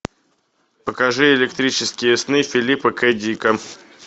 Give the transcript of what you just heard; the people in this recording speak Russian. покажи электрические сны филипа к дика